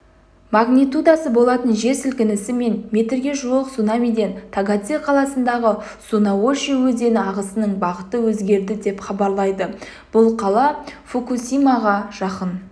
магнитудасы болатын жер сілкінісі мен метрге жуық цунамиден тагадзе қаласындағы сунаоши өзені ағысының бағыты өзгерді деп хабарлайды бұл қала фукусимаға жақын